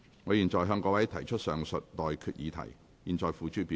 我現在向各位提出上述待決議題，付諸表決。